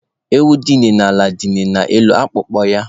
Ewu dila n'ala, dila n'elu akpụkpọ ya